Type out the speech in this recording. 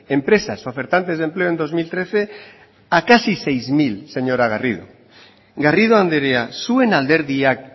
empresas ofertantes de empleo en dos mil trece a casi seis mil señora garrido garrido andrea zuen alderdiak